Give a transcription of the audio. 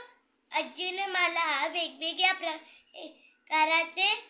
आज्जी ने मला वेग वेगळ्या प्रकराचे